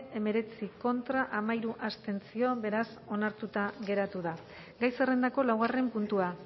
hemeretzi contra hamairu abstentzio beraz onartuta geratu da gai zerrendako laugarren puntua